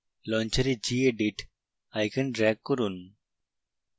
launcher gedit icon drag করুন